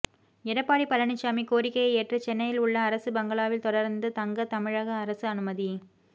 எடப்பாடி பழனிசாமி கோரிக்கையை ஏற்று சென்னையில் உள்ள அரசு பங்களாவில் தொடர்ந்து தங்க தமிழக அரசு அனுமதி